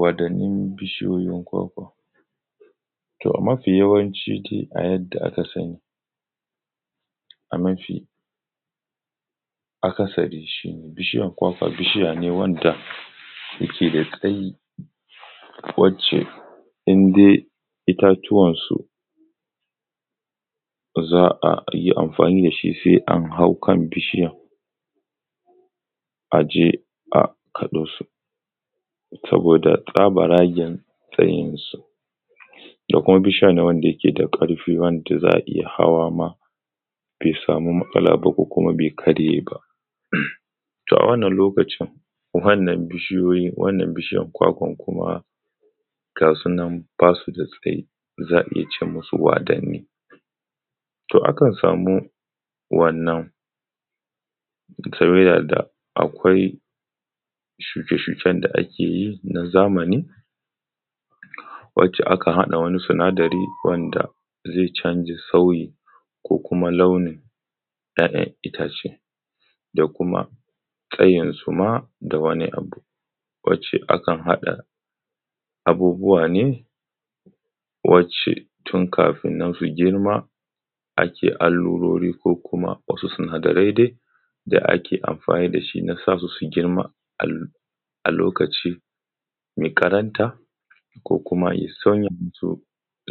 Wadanin bishiyoyin kwakwa. To mafi yawanci dai a yadda aka sani, a mafi akasari shi ne, bishiya kwakwa bishiya ne wanda yake da tsayi, wacce inda itatuwansu za a yi amfani dashi sai an hau kan bishiyan, aje a kaɗosu saboda tsabaragen tsayinsu, da kuma bishiya ne wanda yake da ƙarfi wanda za a iya hawama bai samu matsala ba ko kuma bai karye ba. To a wannan lokacin wannan bishiyoyin, wannan bishiyan kuma gasu nan basu da tsayi, za a iya ce musu waddani, to akan samu wannan tawaya da, akwai shuke-shuke da ake yi na zamani, wacce aka haɗa wani sinadari wanda zai canza sauyi, ko kuma launin ‘ya’yan itace da kuma kayansu ma, da wani abu, wacce akan haɗa abubuwa ne wacce tun kafin nan su girma ake alurori ko kuma wasu sinadarai dai da ake amfani dashi na sasu suyi girma, a lokaci mai karanta, ko kuma ya sauya musu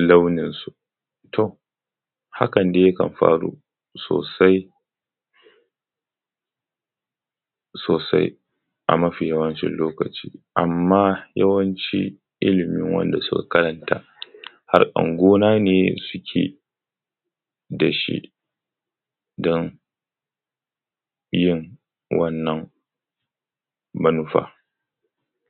launinsu. To hakan dai yakan faru sosai, sosai a mafi yawancin lokaci, amma yawanci ilimin wanda suka karanta harkan gona ne suke dashi, don yin wannan manufan.